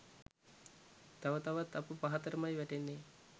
තව තවත් අප පහතටමයි වැටෙන්නේ.